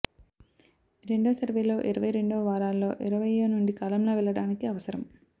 రెండో సర్వేలో ఇరవై రెండవ వారాలలో ఇరవయ్యో నుండి కాలంలో వెళ్ళడానికి అవసరం